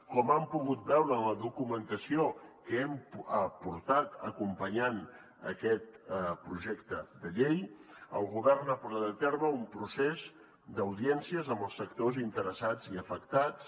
com han pogut veure en la documentació que hem aportat acompanyant aquest projecte de llei el govern ha portat a terme un procés d’audiències amb els sectors interessats i afectats